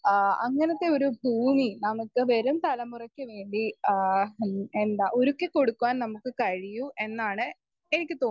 speaker 1 ആ അങ്ങനത്തെ ഒരു ഭൂമി നമുക്ക് വരും തലമുറയ്ക്ക് വേണ്ടി ആഹ് എന്ത ഒരുക്കി കൊടുക്കുവാൻ നമുക്ക് കഴിയൂ എന്നാണ് എനിക്ക് തോന്നുന്ന